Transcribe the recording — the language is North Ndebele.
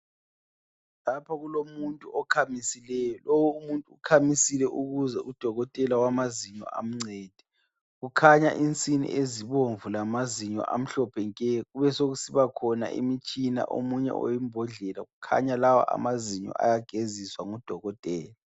Lapho kulomuntu okhamisileyi ,lowu umuntu ukhamisile ukuze Udokotela wamazinyo amncede ,kukhanya insini ezibomvu lamazinyo amhlophe nke, kubesekusibakhona imitshina omunye oyimbondlela kukhanya lawa amazinyo ayageziswa ngu Dokotela